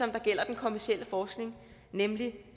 gælder den kommercielle forskning nemlig det